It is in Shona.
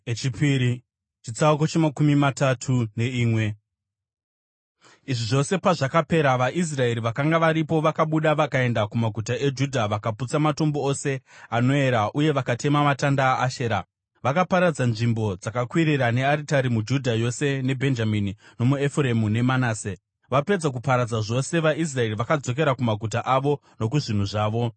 Izvi zvose pazvakapera, vaIsraeri vakanga varipo vakabuda vakaenda kumaguta eJudha vakaputsa matombo ose anoera uye vakatema matanda aAshera. Vakaparadza nzvimbo dzakakwirira nearitari muJudha yose neBhenjamini nomuEfuremu neManase. Vapedza kuparadza zvose vaIsraeri vakadzokera kumaguta avo nokuzvinhu zvavo.